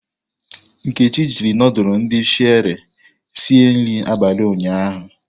Nkechi jiri ndulu ndi Sherie esi nri abalị ụnyahụ.